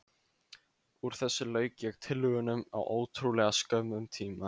Úr þessu lauk ég tillögunum á ótrúlega skömmum tíma.